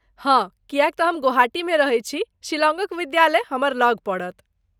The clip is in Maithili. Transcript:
हाँ, किएक तँ हम गुवाहाटीमे रहैत छी, शिलांगक विद्यालय हमर लग पड़त।